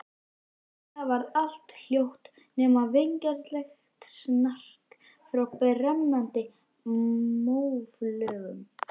Snögglega varð allt hljótt, nema vingjarnlegt snark frá brennandi móflögum.